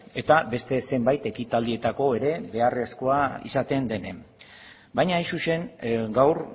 eta beste zenbait ekitaldietarako ere beharrezkoa izaten denean baina hain zuzen gaur